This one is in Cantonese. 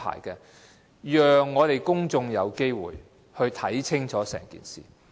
政府必須讓公眾有機會看清楚整件事情。